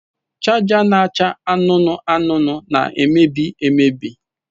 Chaja na-acha anụnụ anụnụ na-emebi emebi.